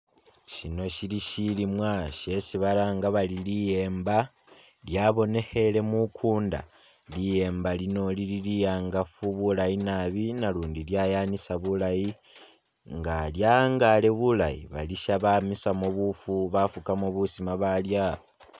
Syino shili shilimwa shesi balanga bari liyemba lyabonekheele mukuunda. Liyemba lino lili li'angafu bulayi nabi nalundi lyayanisa bulaayi, nga lya'angale bulayi balisya bamisamu buufu bafukamu busima baalya.